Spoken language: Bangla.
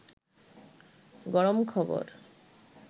গরম খবর